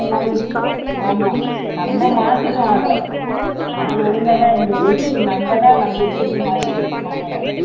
மாறிடுச்சு ஆமா நம்ம மாத்திட்டோம் அத அது ஒழுங்காதான் இருந்தது இது நம்மதான் நம்ம இஷ்டத்துக்கு மாத்தி வச்சிருக்கோம் அதை